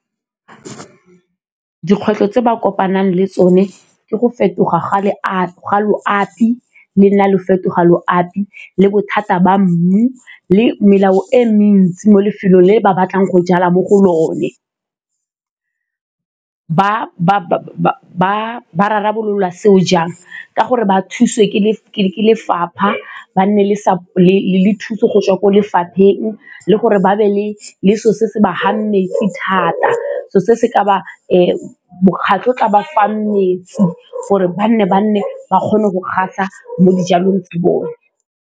Dikgwetlho tse ba kopanang le tsone ke go fetoga ga loapi le nna le fetoga loapi le bothata ba mmu le melao e mentsi mo lefelong le le ba batlang go jala mo go lone. Ba rarabolola seo jang? Ka gore ba thusiwe ke lefapha ba nne le thuso go tswa ko lefapheng le gore ba be le selo se se ba fang metsi thata, seo se se ka ba mokgatlho o o ka ba fang metsi gore ba nne ba nne ba kgone go kgatlha mo dijalong bone.